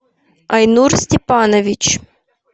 айнур степанович